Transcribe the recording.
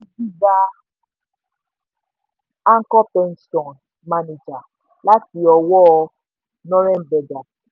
gbígba anchor pension managers láti ọwọ́ norrenberger.